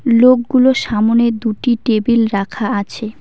লোকগুলোর সামোনে দুটি টেবিল রাখা আছে।